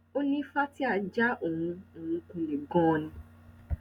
ó ní fatia já òun òun kulẹ ganan ni